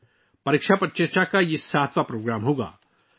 یہ 'پریکشا پر چرچا' کا ساتواں ایڈیشن ہوگا